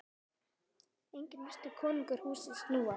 Einnig virtist konungi húsið snúast.